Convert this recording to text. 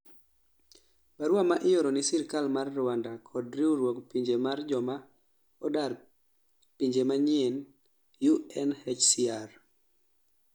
barua ma ioro ni sirkal mar Rwanda kod riwruog Pinje mar Joma odar piny manyien-UNHCR